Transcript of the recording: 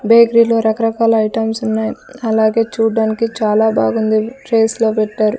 Bakery లో రకరకాల items ఉన్నాయి అలాగే చూడ్డానికి చాలా బాగుంది ట్రేస్ లో పెట్టారు.